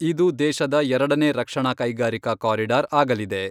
ಇದು ದೇಶದ ಎರಡನೇ ರಕ್ಷಣಾ ಕೈಗಾರಿಕಾ ಕಾರಿಡಾರ್ ಆಗಲಿದೆ.